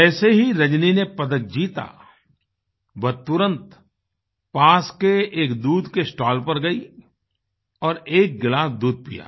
जैसे ही रजनी ने पदक जीता वह तुरंत पास के एक दूध के स्टॉल पर गई और एक गिलास दूध पिया